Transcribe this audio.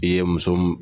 I ye muso mun